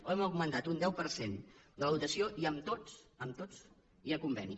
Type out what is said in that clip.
hem augmentat un deu per cent la dotació i amb tots amb tots hi ha conveni